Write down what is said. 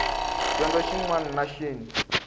dyondzo xin wana na xin